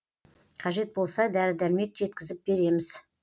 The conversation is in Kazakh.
қажет болса дәрі дәрмек жеткізіп береміз